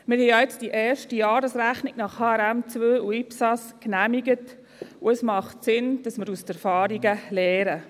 Wir haben ja jetzt die erste Jahresrechnung nach HRM2 und IPSAS genehmigt, und es macht Sinn, dass wir aus den Erfahrungen lernen.